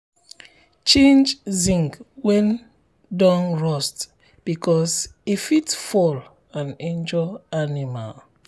change um zinc wey don rust because e fit um fall and injure animal. um